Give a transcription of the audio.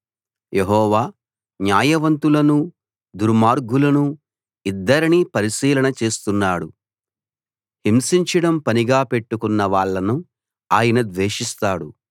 యెహోవా న్యాయవంతులనూ దుర్మార్గులనూ ఇద్దరినీ పరిశీలన చేస్తున్నాడు హింసించడం పనిగా పెట్టుకున్న వాళ్ళను ఆయన ద్వేషిస్తాడు